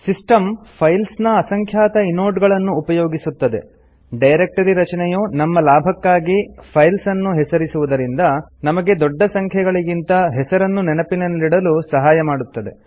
system files ನ ಅಸಂಖ್ಯಾತ inode ಗಳನ್ನು ಉಪಯೋಗಿಸುತ್ತದೆ ಡೈರೆಕ್ಟರಿ ರಚನೆಯು ನಮ್ಮ ಲಾಭಕ್ಕಾಗಿ ಫೈಲ್ಸ್ ಅನ್ನು ಹೆಸರಿಸುವುದರಿಂದ ನಮಗೆ ದೊಡ್ಡ ಸಂಖ್ಯೆಗಳಿಗಿಂತ ಹೆಸರನ್ನು ನೆನಪಲ್ಲಿಡಲು ಸಹಾಯ ಮಾಡುತ್ತದೆ